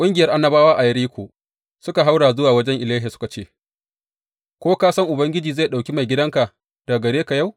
Ƙungiyar annabawa a Yeriko suka haura zuwa wajen Elisha suka ce, Ko ka san Ubangiji zai ɗauki maigidanka daga gare ka yau?